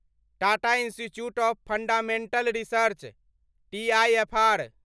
Tata institute of fundamental research TIFR